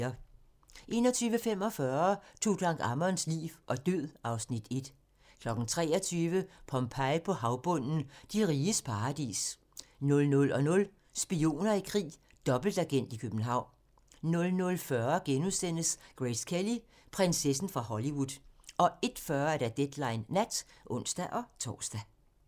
21:45: Tutankhamons liv og død (Afs. 1) 23:00: Pompeji på havbunden - De riges paradis 00:00: Spioner i krig: Dobbeltagent i København 00:45: Grace Kelly: Prinsessen fra Hollywood * 01:40: Deadline Nat (ons-tor)